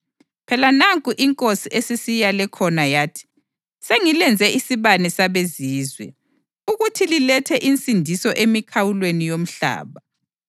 Phela nanku iNkosi esisiyale khona yathi: ‘Sengilenze isibane sabeZizwe, ukuthi lilethe insindiso emikhawulweni yomhlaba.’ + 13.47 U-Isaya 49.6”